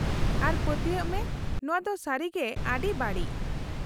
-ᱟᱨ ᱯᱟᱹᱛᱭᱟᱹᱜ ᱢᱮ, ᱱᱚᱶᱟ ᱫᱚ ᱥᱟᱹᱨᱤᱜᱮ ᱟᱹᱰᱤ ᱵᱟᱹᱲᱤᱡ ᱾